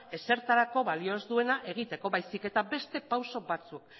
ezertarako balio ez duena egiteko baizik eta beste pausu batzuk